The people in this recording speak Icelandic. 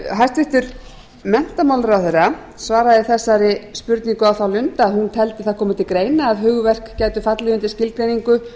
hæstvirtur menntamálaráðherra svaraði þessari spurningu á þá lund að hún teldi það koma til greina að hugverk gætu fallið undir skilgreiningu